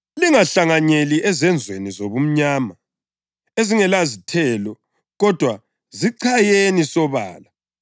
Lingahlanganyeli ezenzweni zobumnyama ezingelazithelo kodwa zichayeni sobala.